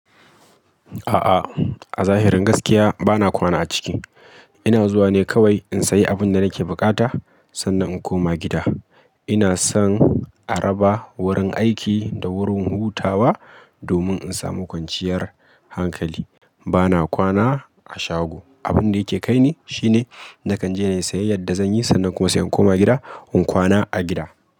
A'a, a zahirin gaskiya bana kwana a ciki. Ina zuwa ne kawai in sayi abin da nake bukata sannan in koma gida. Ina son a raba wurin aiki da wurin hutawa domin in samu kwanciyar hankali. Bana kwana a shago. Abin da yake kai ne shine nakan je in yi sayayyar da zan yi sannan kuma sai in koma gida in kwana a gida.